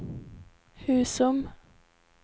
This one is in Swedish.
Husum